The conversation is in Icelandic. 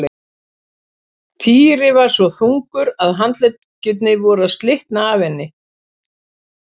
Týri var svo þungur að handleggirnir voru að slitna af henni.